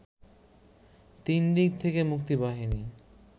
তিনদিক থেকে মুক্তিবাহিনী